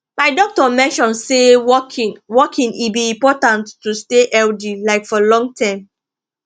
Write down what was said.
my doctor mention say walking walking e be important to stay healthy like for long term